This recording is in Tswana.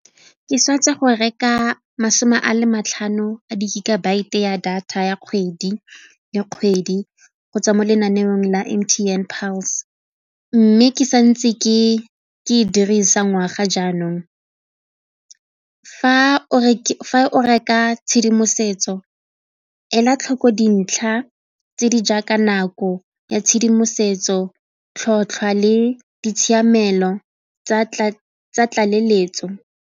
Ke sa tswago reka masome a matlhano a di-gigabyte-e ya data ya kgwedi go tswa mo lenaneong la M_T_N Pulse mme ke santse ke ke dirisa ngwaga jaanong. Fa o reka tshedimosetso ela tlhoko dintlha tse di jaaka nako ya tshedimosetso, tlhotlhwa le ditshiamelo tsa tlaleletso.